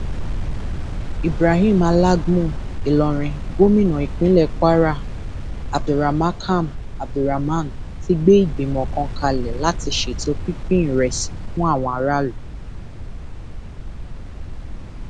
ibrahim alagmu ìlorin gomina ìpínlẹ kwara abdulrmacam abdulrahman ti gbé ìgbìmọ kan kalẹ láti ṣètò pínpín ìrẹsì fún àwọn aráàlú